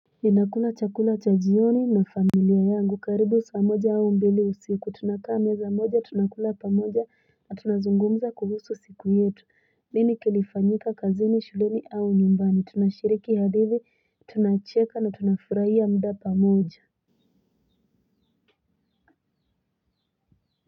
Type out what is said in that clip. Ninakula chakula cha jioni na familia yangu karibu saa moja au mbili usiku tunakaa meza moja tunakula pamoja na tunazungumza kuhusu siku yetu nini kilifanyika kazini shuleni au nyumbani tunashiriki hadithi tunacheka na tunafuraia muda pamoja.